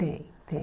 Tem, tem.